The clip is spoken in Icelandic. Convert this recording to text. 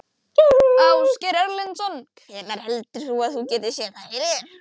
Ásgeir Erlendsson: Hvenær heldur þú að þú getir séð það fyrir þér?